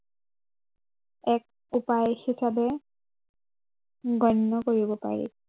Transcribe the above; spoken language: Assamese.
এক উপায় হিচাপে গণ্য় কৰিব পাৰি।